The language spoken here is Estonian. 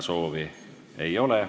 Kõnesoove ei ole.